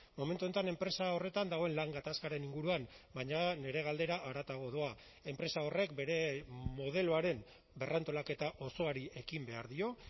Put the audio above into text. momentu honetan enpresa horretan dagoen lan gatazkaren inguruan baina nire galdera haratago doa enpresa horrek bere modeloaren berrantolaketa osoari ekin behar dio